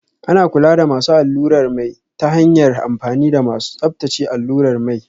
Ana kula da masu allurar mai ta hanyar amfani da masu tsabtace allurar mai